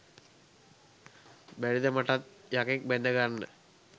බැරිද මටත් යකෙක් බැඳගන්න